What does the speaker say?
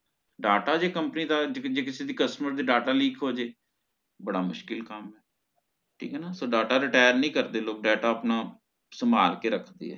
data ਜੇ company ਦਾ ਜੇ ਕਿਸ ਕਿਸੇ customer ਦੀ ਹੋ ਜੇ ਬੜਾ ਮੁਸ਼ਕਿਲ ਕੰਮ ਇਹ ਨਾ data retire ਨਹੀਂ ਕਰਦੇ ਲੋਕ data ਆਪਣਾ ਸੰਭਾਲ ਕੇ ਰੱਖਦੇ